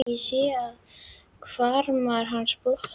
Ég sé að hvarmar hans blotna.